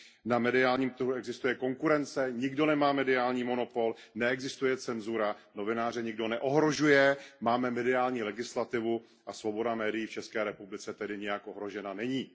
Na mediálním trhu existuje konkurence, nikdo nemá mediální monopol, neexistuje cenzura, novináře nikdo neohrožuje, máme mediální legislativu a svoboda médií v České republice tedy nijak ohrožena není.